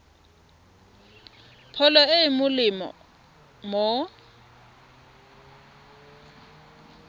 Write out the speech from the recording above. pholo e e molemo go